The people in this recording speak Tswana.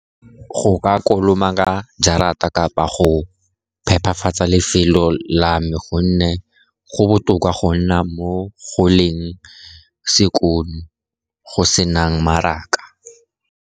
Go ka kolomaka jarata kgotsa go phephafatsa lefelo la me, gonne go botoka go nna mo goleng sekono go sena maraka.